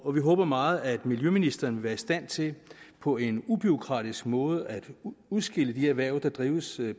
og vi håber meget at miljøministeren vil være i stand til på en ubureaukratisk måde at udskille de erhverv der drives